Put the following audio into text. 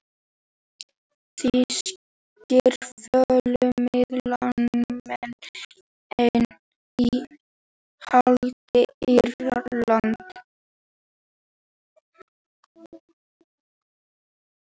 Þýskir fjölmiðlamenn enn í haldi Írana